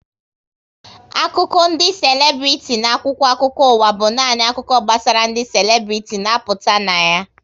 Akụkụ ndị selibriti na akwụkwọ akụkọ ụwa bụ nani akụkọ gbasara ndị selibriti na-apụta na ya